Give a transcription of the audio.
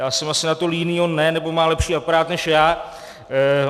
Já jsem asi na to líný, on ne nebo má lepší aparát než já.